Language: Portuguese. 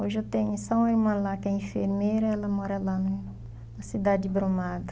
Hoje eu tenho só uma lá que é enfermeira, ela mora lá num na cidade de Brumado.